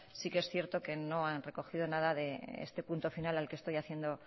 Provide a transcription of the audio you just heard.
sí que es cierto que no han recogido nada de este punto final al que estoy haciendo